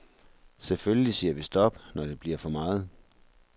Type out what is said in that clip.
Selvfølgelig siger vi stop, når det bliver for meget.